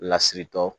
Lasiritɔ